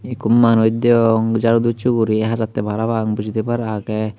yea ekku manuj degong jaru dochi guri hajatte parapang boji thebar age.